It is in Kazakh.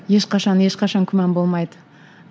ешқашан ешқашан күмән болмайды